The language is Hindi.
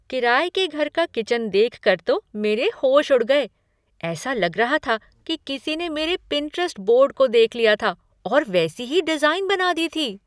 किराये के घर का किचन देखकर तो मेरे होश उड़ गए। ऐसा लग रहा था कि किसी ने मेरे पिंटरेस्ट बोर्ड को देख लिया था और वैसी ही डिज़ाइन बना दी थी।"